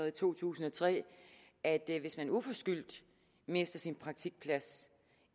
i to tusind og tre at hvis man uforskyldt mister sin praktikplads